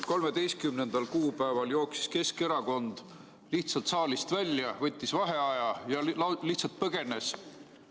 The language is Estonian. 13. kuupäeval jooksis Keskerakond saalist välja, võttis vaheaja ja lihtsalt põgenes.